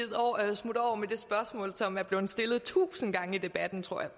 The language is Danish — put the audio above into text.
smutte over med det spørgsmål som er blevet stillet tusinde gange i debatten tror jeg